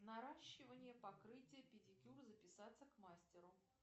наращивание покрытие педикюр записаться к мастеру